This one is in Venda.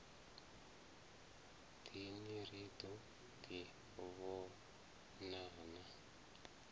dini ri ḓo ḓi vhonana